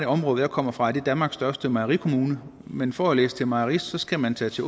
område jeg kommer fra er danmark største mejerikommune men for at læse til mejerist skal man tage til